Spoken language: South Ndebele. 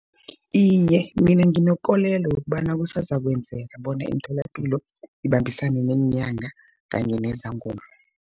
Iye, mina nginekolelo yokobana kusazokwenzeka bona imitholapilo, ibambisane neenyanga kanye nezangoma.